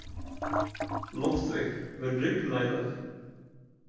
Loftveig, mun rigna í dag?